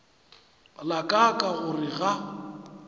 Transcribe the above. la ka ka gore ga